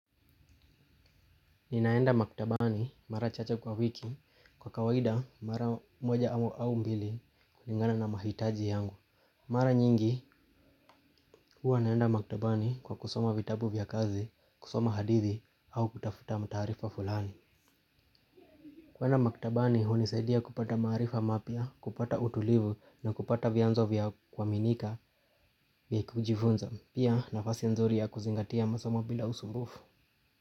Ninaenda maktabani mara chache kwa wiki kwa kawaida mara moja au mbili kulingana na mahitaji yangu. Mara nyingi huwa naenda maktabani kwa kusoma vitabu vya kazi, kusoma hadithi au kutafuta taarifa fulani. Kuenda maktabani hunisaidia kupata maarifa mapya, kupata utulivu na kupata vyanzo vya kuaminika vya kujifunza. Pia nafasi nzuri ya kuzingatia masomo bila usumbufu.